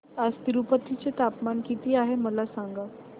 आज तिरूपती चे तापमान किती आहे मला सांगा